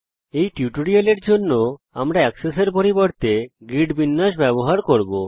এই টিউটোরিয়ালের জন্য আমি এক্সেস এর পরিবর্তে গ্রিড বিন্যাস লেআউট ব্যবহার করব